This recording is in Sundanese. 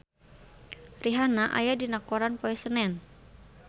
Rihanna aya dina koran poe Senen